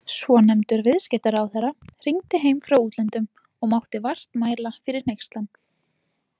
Svonefndur viðskiptaráðherra hringdi heim frá útlöndum og mátti vart mæla fyrir hneykslan.